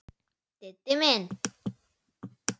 Diddi minn!